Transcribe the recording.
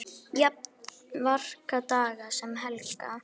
Jafnt virka daga sem helga.